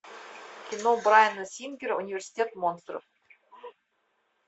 кино брайана сингера университет монстров